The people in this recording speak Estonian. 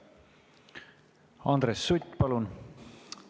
Andres Sutt, palun!